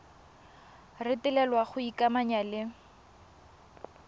retelelwa ke go ikamanya le